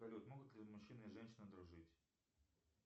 салют могут ли мужчина и женщина дружить